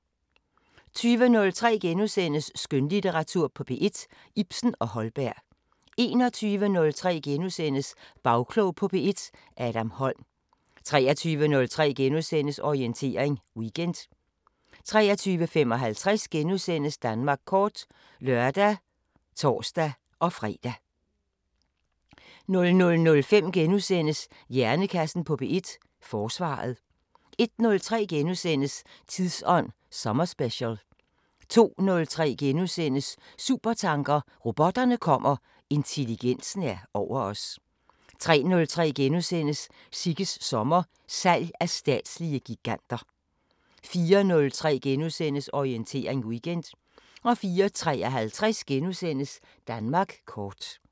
20:03: Skønlitteratur på P1: Ibsen og Holberg * 21:03: Bagklog på P1: Adam Holm * 23:03: Orientering Weekend * 23:55: Danmark kort *(lør og tor-fre) 00:05: Hjernekassen på P1: Forsvaret * 01:03: Tidsånd sommerspecial * 02:03: Supertanker: Robotterne kommer, intelligensen er over os * 03:03: Sigges sommer: Salg af statslige giganter * 04:03: Orientering Weekend * 04:53: Danmark kort *